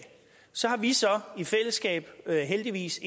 så har vi så i fællesskab heldigvis